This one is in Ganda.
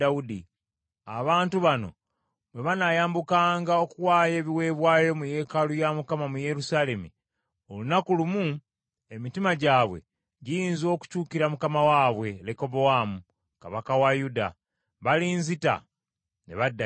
Abantu bano bwe banayambukanga okuwaayo ebiweebwayo mu yeekaalu ya Mukama mu Yerusaalemi, olunaku olumu emitima gyabwe giyinza okukyukira mukama waabwe, Lekobowaamu, kabaka wa Yuda. Balinzita ne badda gy’ali.”